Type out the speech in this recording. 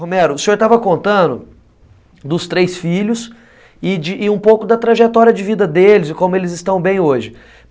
Romero, o senhor estava contando dos três filhos e de um pouco da trajetória de vida deles e como eles estão bem hoje.